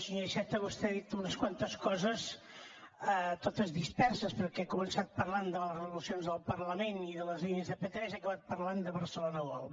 senyor iceta vostè ha dit unes quantes coses totes disperses perquè ha començat parlant de les resolucions del parlament i de les línies de p3 i ha acabat parlant de barcelona world